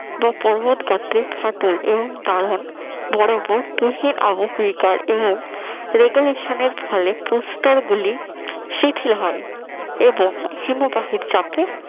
বা পর্বত গাত্রে ফাটল এবং দাহন দেহের আবহবিকার এমন এবং regulation এর ফলে প্রস্তর গুলি শীতল হয় এবং হিমবাহের চাপে